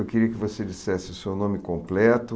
Eu queria que você dissesse o seu nome completo.